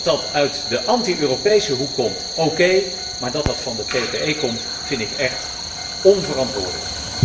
Dat dit uit de anti Europese hoek komt, okay, maar dat dit van de PPE Fractie komt, vind ik echt onverantwoordelijk.